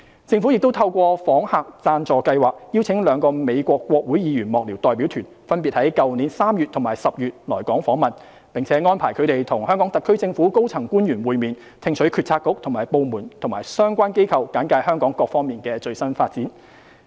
政府亦透過訪客贊助計劃邀請兩個美國國會議員幕僚代表團分別於去年3月及10月來港訪問，並安排他們與香港特區政府的高層官員會面，聽取政策局/部門及相關機構簡介香港各方面的最新發展。